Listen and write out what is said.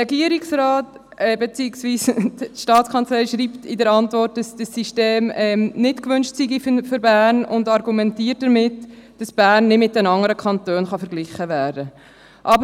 Die STA schreibt in der Antwort, dass dieses System für Bern nicht gewünscht sei, und argumentiert damit, dass Bern nicht mit den anderen Kantonen verglichen werden könne.